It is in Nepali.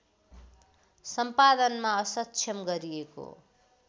सम्पादनमा असक्षम गरिएको